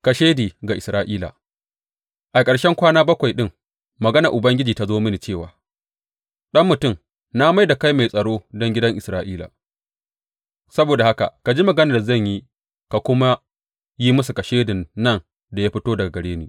Kashedi ga Isra’ila A ƙarshen kwana bakwai ɗin maganar Ubangiji ta zo mini cewa, Ɗan mutum, na mai da kai mai tsaro don gidan Isra’ila; saboda haka ka ji maganar da zan yi ka kuma yi musu kashedin nan da ya fito daga gare ni.